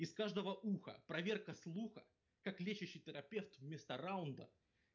их каждого уха проверка слуха как лечащий терапевт вместо раунда